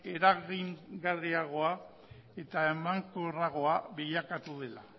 eragingarriagoa eta emankorragoa bilakatu dela